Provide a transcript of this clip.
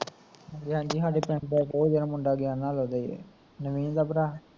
ਹਾਂਜੀ ਹਾਂਜੀ ਸਾਡੇ ਪਿੰਡ ਦਾ ਉਹ ਜਿਹੜਾ ਮੁੰਡਾ ਗਿਆ ਨਾਲ਼ ਉਹਦਾ ਈ ਐ, ਨਵੀਨ ਦਾ ਭਰਾ